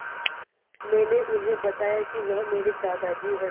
मैंने उन्हें बताया कि वह मेरे दादाजी हैं